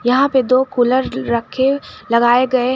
यहां पे दो कुलर रखे लगाए गए--